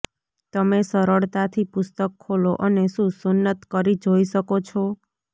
તમે સરળતાથી પુસ્તક ખોલો અને શું સુન્નત કરી જોઈ શકો છો